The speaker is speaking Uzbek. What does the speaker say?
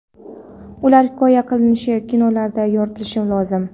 Ular hikoya qilinishi, kinolarda yoritilish lozim.